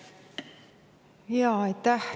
Aitäh!